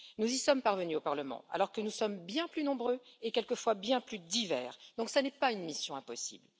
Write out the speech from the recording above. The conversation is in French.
Nous y sommes parvenus au Parlement, alors que nous sommes bien plus nombreux et quelquefois bien plus divers, donc cela n'est pas une mission impossible.